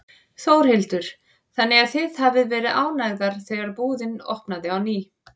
Þórhildur: Þannig að þið hafið verið ánægðar þegar búðin opnaði á ný?